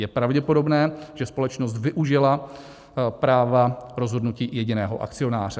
Je pravděpodobné, že společnost využila práva rozhodnutí jediného akcionáře.